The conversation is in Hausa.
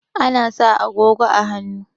Ana sa agogo a hannu